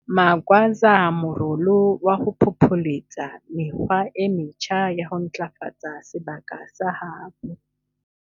Magwaza morolo wa ho phopholetsa mekgwa e metjha ya ho ntlafatsa sebaka sa habo.